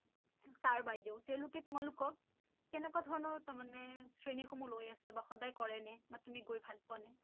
Sir বাইদেউ তেঁওলোকে তোমালোকক কেনেকুৱা ধৰণৰ তাৰ মানে শ্ৰেণী সমূহ লয় আছে বা সদায় কৰে নে বা তুমি গৈ ভাল পোৱা নে?